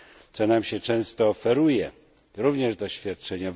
Co nam się często oferuje, również z doświadczenia?